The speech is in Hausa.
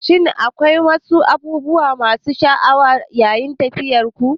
Shin akwai wasu abubuwa masu ban sha'awa yayin tafiyarku?